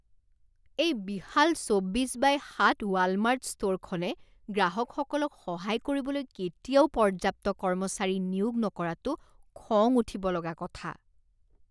এই বিশাল চৌব্বিছ বাই সাত ৱালমাৰ্ট ষ্টোৰখনে গ্ৰাহকসকলক সহায় কৰিবলৈ কেতিয়াও পৰ্যাপ্ত কৰ্মচাৰী নিয়োগ নকৰাটো খং উঠিব লগা কথা।